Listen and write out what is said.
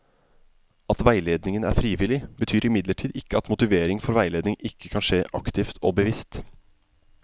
At veiledningen er frivillig, betyr imidlertid ikke at motivering for veiledning ikke kan skje aktivt og bevisst.